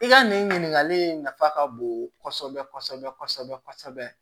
I ka nin ɲininkali in nafa ka bon kɔsɛbɛ kɔsɛbɛ kɔsɛbɛ kɔsɛbɛ